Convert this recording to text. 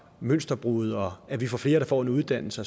mønsterbrydere og at vi får flere der får en uddannelse